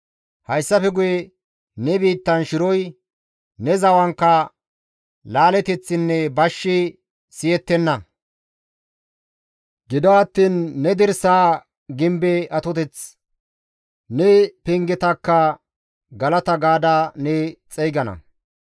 Hayssafe guye ne biittan shiroy, ne zawankka laaleteththinne bashshi siyettenna. Gido attiin ne dirsaa gimbe atoteththi, ne pengetakka galata gaada ne xeygana.